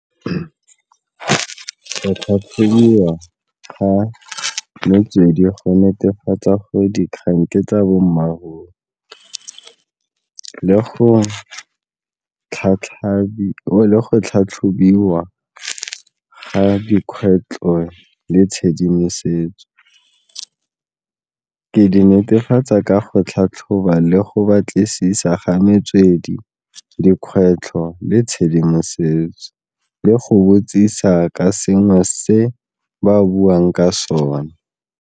ga metswedi go netefatsa gore dikgang ke tsa bommaaruri le go tlhatlhobiwa ga dikgwetlho le tshedimosetso. Ke di netefatsa ka go tlhatlhoba le go batlisisa ga metswedi, dikgwetlho le tshedimosetso le go botsisa ka sengwe se ba buang ka sone.